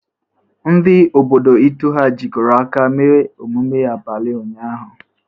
Ndi obodo Itu ha jikọrọ aka mee emume abalị ụnyaahụ?